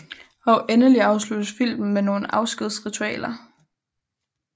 Og endelig afsluttes filmen med nogle afskedsritualer